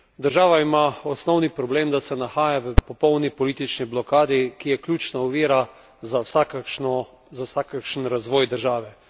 Država ima osnovni problem, da se nahaja v popolni politični blokadi, ki je ključna ovira za vsakršnoza vsakršni razvoj države.